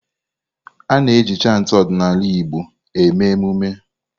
A-na eji chantị ọdịnala Igbo eme emume.